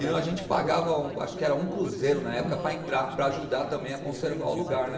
E a gente pagava, acho que era um cruzeiro na época, para entrar, para ajudar também a conservar o lugar, né?